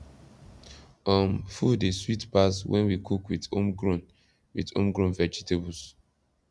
um food dey sweet pass when we cook with homegrown with homegrown vegetables